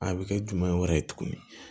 A bɛ kɛ jumɛn wɛrɛ ye tuguni